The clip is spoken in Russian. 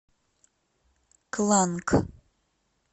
кланг